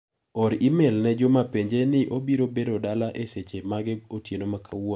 Or imel ne juma penje ni obiro bedo dala e seche mage otieno makawuono.